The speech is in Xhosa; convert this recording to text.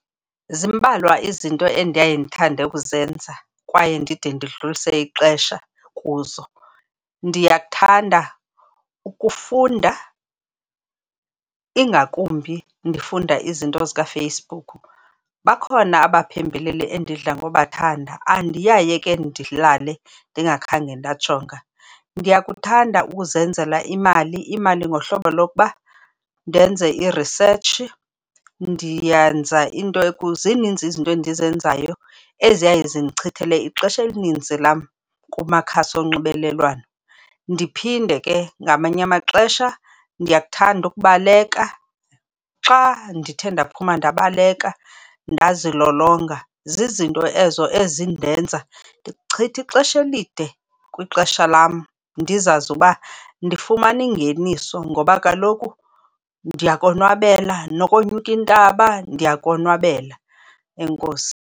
Zimbalwa izinto endaye ndithande ukuzenza kwaye ndide ndidlulise ixesha kuzo. Ndiyakuthanda ukufunda ingakumbi ndifunda izinto zikaFacebook. Bakhona abaphembeleli endidla ngobathanda, andiyaye ke ndilale ndingakhange ndajonga. Ndiyakuthanda ukuzenzela imali. Imali ngohlobo lokuba ndenze i-research, ndiyenza into, zininzi izinto endizenzayo eziyaye zindichithele ixesha elininzi lam kumakhasi onxibelelwano. Ndiphinde ke ngamanye amaxesha, ndiyakuthanda ukubaleka. Xa ndithe ndaphuma ndabaleka ndazilolonga, zizinto ezo ezindenza ndichithe ixesha elide kwixesha lam ndizazi ukuba ndifumane ingeniso ngoba kaloku ndiyakonwabela, nokonyuka intaba ndiyakonwabela. Enkosi.